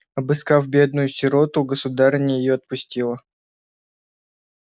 обласкав бедную сироту государыня её отпустила